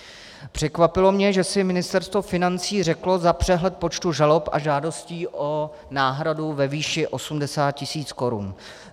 Překvapilo mě, že si Ministerstvo financí řeklo za přehled počtu žalob a žádostí o náhradu ve výši 80 tisíc korun.